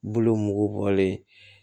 Bulu mugu bɔlen